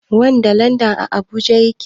Wanda land a habuja yake